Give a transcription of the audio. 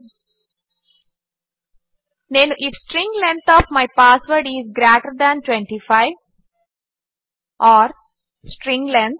నేను if string length of my password is greater than 25ఓర్ string length